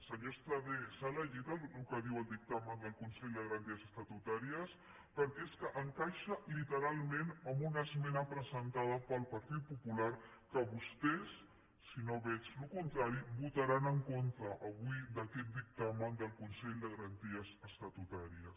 senyor estradé s’ha llegit el que diu el dictamen del consell de garanties estatutàries perquè és que encaixa literalment amb una esmena presentada pel partit popular que vostès si no veig el contrari votaran en contra avui d’aquest dictamen del consell de garanties estatutàries